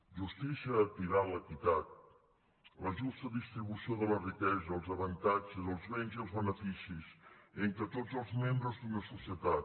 justícia equival a equitat a la justa distribució de la riquesa els avantatges els béns i els beneficis entre tots els membres d’una societat